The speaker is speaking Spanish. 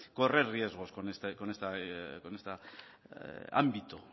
correr riesgos con este ámbito